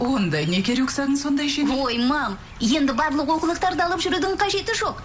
онда неге рюкзагың сондай жеңіл ой мам енді барлық оқулықтарды алып жүрудің қажеті жоқ